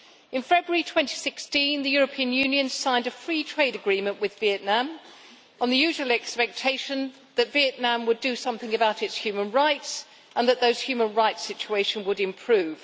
In February 2016, the European Union signed a free trade agreement with Vietnam on the usual expectation that Vietnam would do something about its human rights, and that the human rights situation would improve.